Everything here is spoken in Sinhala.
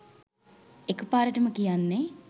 එකපාරටම කියන්නේ?